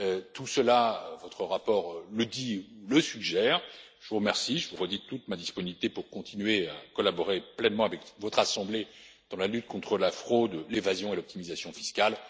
qualifiée. Tout cela, votre rapport le dit ou le suggère, et je vous remercie. Je vous redis toute ma disponibilité pour continuer à collaborer pleinement avec votre assemblée dans la lutte contre la fraude, l'évasion et l'optimisation